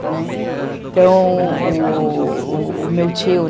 Né, então, u u , o meu tio, o...